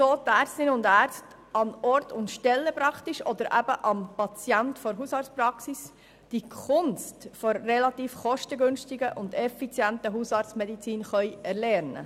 So können Ärztinnen und Ärzte an Ort und Stelle oder an den Patienten der Hausarztpraxis die Kunst der relativ kostengünstigen und effizienten Hausarztmedizin erlernen.